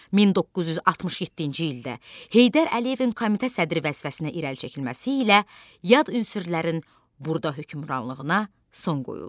1967-ci ildə Heydər Əliyevin komitə sədri vəzifəsinə irəli çəkilməsi ilə yad ünsürlərin burda hökmranlığına son qoyuldu.